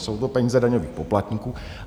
Jsou to peníze daňových poplatníků.